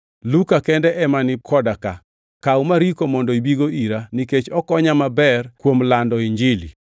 Luka kende ema ni koda ka. Kaw Mariko mondo ibigo ira, nikech okonya maber e kuom lando Injili.